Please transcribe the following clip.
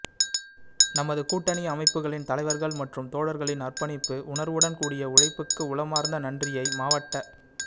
நமது கூட்டணி அனமைப்புகளின் தலைவர்கள் மற்றும் தோழர்களின் அர்ப்பணிப்பு உணர்வுடன் கூடிய உழைப்புக்கு உளமார்ந்த நன்றியை மாவட்டச்